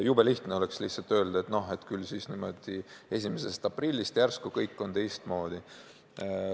Jube lihtne oleks öelda, et küllap 1. aprillist järsku kõik on teistmoodi.